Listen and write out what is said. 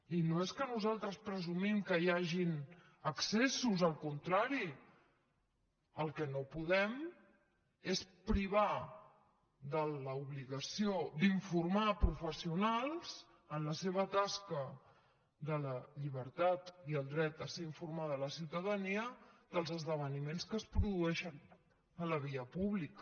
i no és que nosaltres presumim que hi hagin excessos al contrari el que no podem és privar de l’obligació d’informar professionals en la seva tasca de la llibertat i el dret a ser informada la ciutadania dels esdeveniments que es produeixen a la via pública